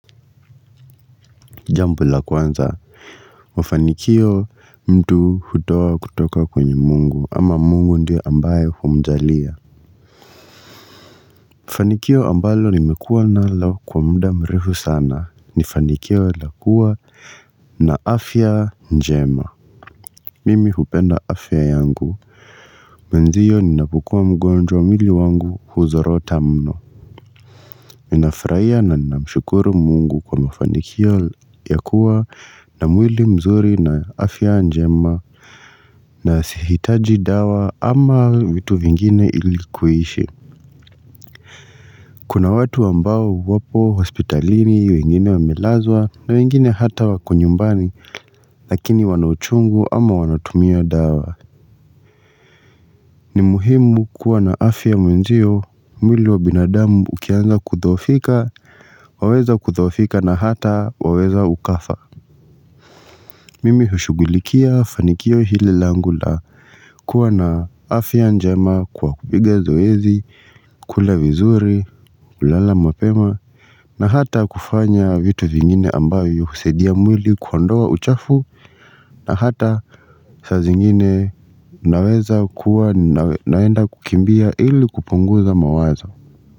Jambo la kwanza mafanikio mtu hutoa kutoka kwenye Mungu ama Mungu ndiye ambaye humjalia Fanikio ambalo nimekuwa nalo kwa muda mrefu sana ni fanikio la kuwa na afya njema mimi hupenda afya yangu Mwenzio ninapokua mgonjwa umili wangu huzorota mno. Ninafuraia na ninamshukuru Mungu kwa mafanikio ya kuwa na mwili mzuri na afya njema na sihitaji dawa ama vitu vingine ili kuishi Kuna watu ambao wapo hospitalini wengine wamelazwa na wengine hata wako nyumbani. Lakini wana uchungu ama wanatumia dawa ni muhimu kuwa na afya mwenzio. Mwili wa binadamu ukianza kudhoofika. Waweza kudhoofika na hata waweza ukafa. Mimi hushugulikia fanikio hili langu la kuwa na afya njema kwa kupiga zoezi kula vizuri, kulala mapema na hata kufanya vitu vingine ambavyo husaidia mwili kuondowa uchafu na hata saa zingine naweza kuwa naenda kukimbia ili kupunguza mawazo.